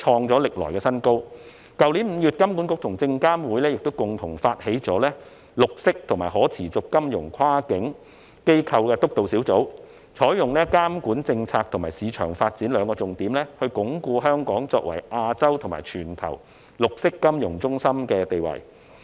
去年5月，香港金融管理局和證券及期貨事務監察委員會共同發起成立綠色和可持續金融跨境機構督導小組，採用監管政策和市場發展為兩大重點，鞏固香港作為亞洲及全球綠色金融中心的地位。